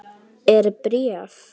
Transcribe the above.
Er bréf?